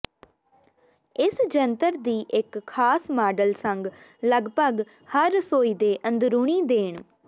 ਇਸ ਜੰਤਰ ਦੀ ਇੱਕ ਖਾਸ ਮਾਡਲ ਸੰਗ ਲਗਭਗ ਹਰ ਰਸੋਈ ਦੇ ਅੰਦਰੂਨੀ ਦੇਣ